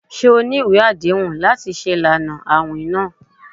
Ṣe o ni iwe adehun lati ṣe ilana awin naa?